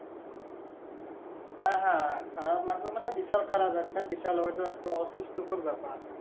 হ্যাঁ হ্যাঁ খারাপ লাগবে মানে বিশাল খারাপ একটা বিশাল হয়তো একটা অতিষ্ট কর ব্যাপার